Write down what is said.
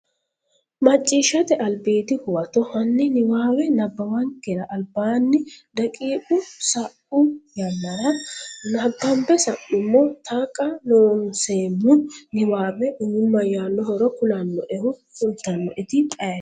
Macciishshate Albiidi Huwato Hanni niwaawe nabbawankera albaanni, daqiiqa sa’u yannara nabbambe sa’nummo Taqa Loonseemmo niwaawe umi mayyaannohoro kulannoehu kultannoeti ayeeti?